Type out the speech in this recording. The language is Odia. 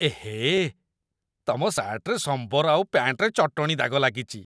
ଏହେ! ତମ ସାର୍ଟ୍‌ରେ ସମ୍ବର ଆଉ ପ୍ୟାଣ୍ଟ୍‌ରେ ଚଟଣୀ ଦାଗ ଲାଗିଚି ।